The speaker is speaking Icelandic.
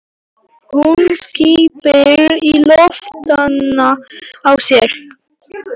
Hún skyrpir í lófana á sér.